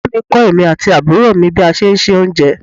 Ìyá mi kọ èmi àti àbúrò mi bí a ṣe ń se oúnjẹ.